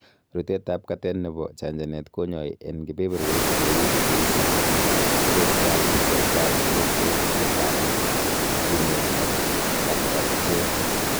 Rutetab katet nebo chanchanet keyoe en kebeberwek cheu cheisibu kubestab bortab ingokyet, katit, kinet ak kapkapchet.